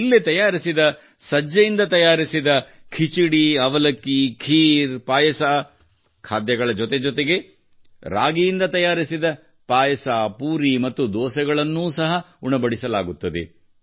ಇಲ್ಲಿ ತಯಾರಿಸಿದ ಸಜ್ಜೆಯಿಂದ ತಯಾರಿಸಿದ ಖಿಚಡಿ ಪೋಹಾ ಖೀರ್ ಮತ್ತು ರೊಟ್ಟಿಯಂತಹ ಖಾದ್ಯಗಳ ಜೊತೆ ಜೊತೆಗೆ ರಾಗಿಯಿಂದ ತಯಾರಿಸಿದ ಪಾಯಸ ಪೂರಿ ಮತ್ತು ದೋಸೆಗಳನ್ನು ಸಹ ಉಣಬಡಿಸಲಾಗುತ್ತದೆ